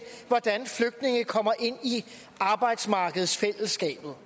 hvordan flygtninge kommer ind i arbejdsmarkedsfællesskabet